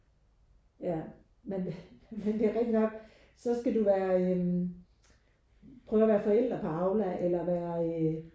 Ja men men det er rigtig nok så skal du være øh prøve at være forældre på Aula eller være øh